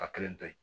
A kelen to yen